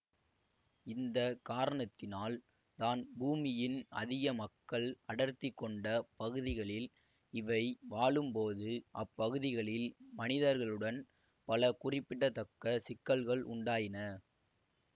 இந்த காரணத்தினால் தான் பூமியின் அதிக மக்கள் அடர்த்தி கொண்ட பகுதிகளில் இவை வாழும்போது அப்பகுதிகளில் மனிதர்களுடன் பல குறிப்பிடத்தக்க சிக்கல்கள் உண்டாயின